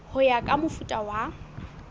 ho ya ka mofuta wa